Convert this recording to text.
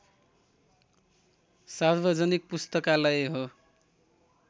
सार्वजनिक पुस्तकालय हो